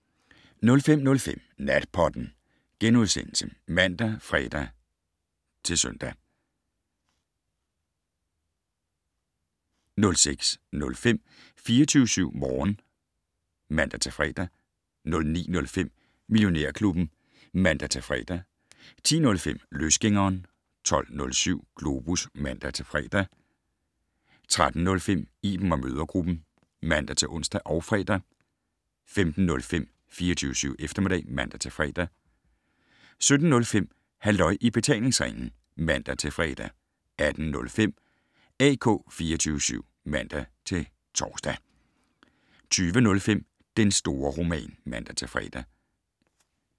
05:05: Natpodden *( man, fre, -søn) 06:05: 24syv Morgen (man-fre) 09:05: Millionærklubben (man-fre) 10:05: Løsgængeren 12:07: Globus (man-fre) 13:05: Iben & mødregruppen (man-ons og fre) 15:05: 24syv Eftermiddag (man-fre) 17:05: Halløj i betalingsringen (man-fre) 18:05: AK 24syv (man-tor) 20:05: Den store roman (man-fre)